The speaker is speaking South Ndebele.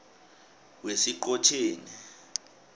wesiqhotjeni